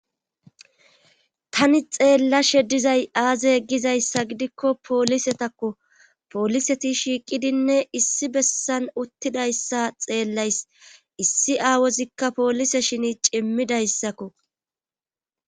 Tani xeellashe dizay aaze egizayssa gidikko poolisetakko pooliseti shiiqidinne issi bessan uttidayssa xeellays issi aawozikka poolise shini cimmidayssakko.